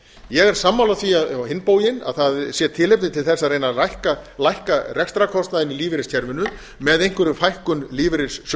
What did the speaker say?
ég er sammála því á hinn bóginn að það sé tilefni til þess að að reyna að lækka rekstrarkostnaðinn í lífeyriskerfinu með einhverri fækkun lífeyrissjóðanna ég